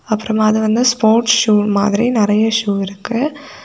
அப்புறமா அது வந்து ஸ்போர்ட்ஸ் ஷூ மாதிரி நிறைய ஷோ இருக்கு.